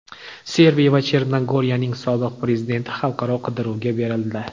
Serbiya va Chernogoriyaning sobiq prezidenti xalqaro qidiruvga berildi.